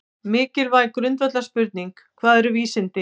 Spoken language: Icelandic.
Mikilvæg grundvallarspurning er: Hvað eru vísindi?